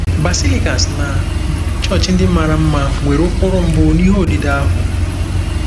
Basilicas na chọọchị ndị mara mma nwere ụkpụrụ mbụ n'ihe odide ahụ?